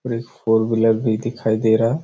एक four wheeler भी दिखाई दे रहा है।